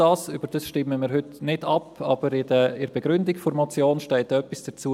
Darüber stimmen wir heute nicht ab, aber in der Begründung der Motion steht etwas dazu.